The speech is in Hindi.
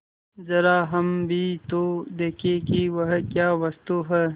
जरा हम भी तो देखें कि वह क्या वस्तु है